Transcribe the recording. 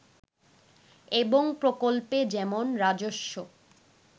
এবং প্রকল্পে যেমন রাজস্ব